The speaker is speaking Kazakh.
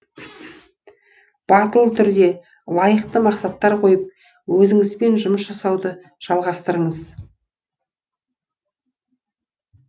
батыл түрде лайықты мақсаттар қойып өзіңізбен жұмыс жасауды жалғастырыңыз